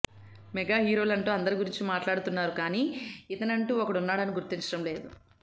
mega హీరోలంటూ అందరి గురించి మాట్లాడుతున్నారు కానీ ఇతనంటూ ఒకడున్నాడని గుర్తించడం లేదు